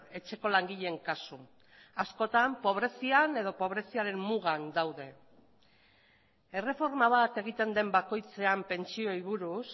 etxeko langileen kasu askotan pobrezian edo pobreziaren mugan daude erreforma bat egiten den bakoitzean pentsioei buruz